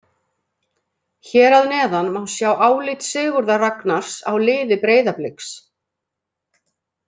Hér að neðan má sjá álit Sigurðar Ragnars á liði Breiðablik.